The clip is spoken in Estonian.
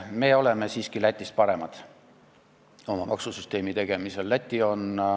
Me oleme siiski oma maksusüsteemi tegemisel Lätist paremad olnud.